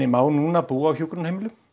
má núna búa á hjúkrunarheimilum